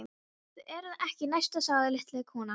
Þið eruð ekki næst sagði lítil kona.